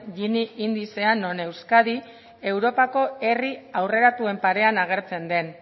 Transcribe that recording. gini indizea non euskadi europako herri aurreratuen parean agertzen den